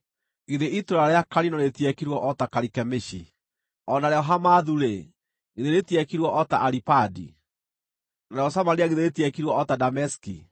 Githĩ itũũra rĩa Kalino rĩtiekirwo o ta Karikemishi? O narĩo Hamathu-rĩ, githĩ rĩtiekirwo o ta Aripadi? Narĩo Samaria githĩ rĩtiekirwo o ta Dameski?